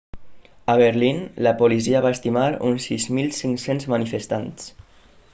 a berlín la policia va estimar uns 6.500 manifestants